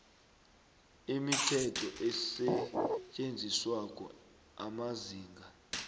imithetho esetjenziswako amazinga